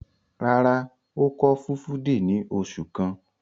Rárá, ó kọ́ Fulfude ní oṣù kan.